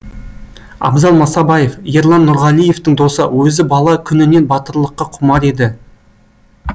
абзал масабаев ерлан нұрғалиевтің досы өзі бала күнінен батырлыққа құмар еді